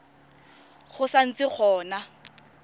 go sa ntse go na